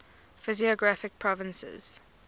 physiographic provinces